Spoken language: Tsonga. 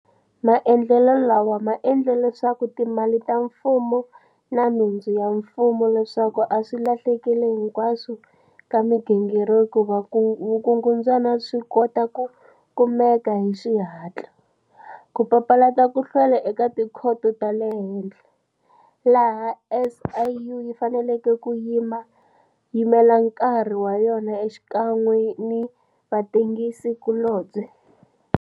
Maendlelo lawa ma endle leswaku timali ta mfumo na nhundzu ya mfumo leswi a swi lahlekile hikwalaho ka migingiriko ya vukungundzwana swi kota ku kumeka hi xihatla, ku papalata ku hlwela eka tikhoto ta le henhla, laha SIU yi faneleke ku yimela nkarhi wa yona xikan'we ni vatengisi kulobye.